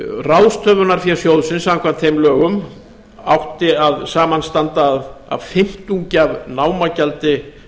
ráðstöfunarfé sjóðsins samkvæmt þeim lögum átti að samanstanda af fimmtungi af námagjaldi verksmiðjunnar til